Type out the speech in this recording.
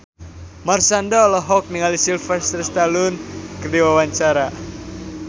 Marshanda olohok ningali Sylvester Stallone keur diwawancara